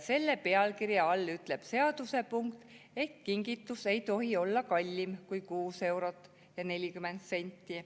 Selle pealkirja all ütleb seaduse säte, et kingitus ei tohi olla kallim kui 6 eurot ja 40 senti.